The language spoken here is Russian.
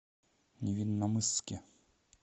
невинномысске